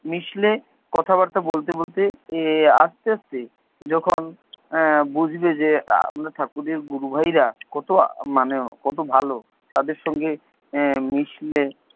মিশলে কথা বার্তা বলতে বলতে এর আস্তে আস্তে, যখন এর বুঝবে যে আমরা ঠাকুরের গুরুভাইরা কত মানে কত ভালো তাদের সাথে মিশলে,